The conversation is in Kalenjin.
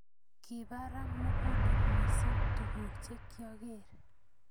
Kibara mugulel missing tuguuk chekioker.